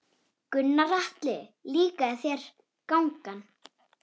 Gunnar Atli: Líkaði þér gangan?